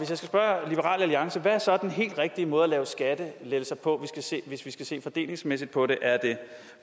skal spørge liberal alliance hvad er så den helt rigtige måde at lave skattelettelser på hvis vi skal se fordelingsmæssigt på det er det